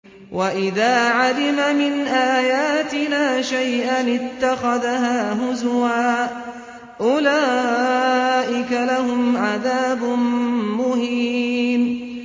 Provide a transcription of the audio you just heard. وَإِذَا عَلِمَ مِنْ آيَاتِنَا شَيْئًا اتَّخَذَهَا هُزُوًا ۚ أُولَٰئِكَ لَهُمْ عَذَابٌ مُّهِينٌ